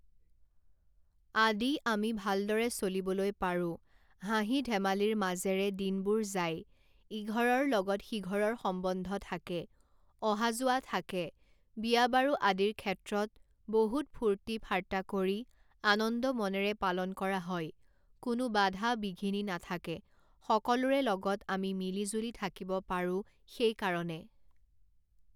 আদি আমি ভালদৰে চলিবলৈ পাৰোঁ হাঁহি-ধেমালিৰ মাজেৰে দিনবোৰ যায় ইঘৰৰ লগত সিঘৰৰ সম্বন্ধ থাকে অহা যোৱা থাকে বিয়া বাৰু আদিৰ ক্ষেত্ৰত বহুত ফূৰ্তি-ফাৰ্তা কৰি আনন্দ মনেৰে পালন কৰা হয় কোনো বাধা বিঘিনি নাথাকে সকলোৰে লগত আমি মিলি জুলি থাকিব পাৰোঁ সেইকাৰণে